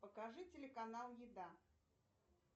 покажи телеканал еда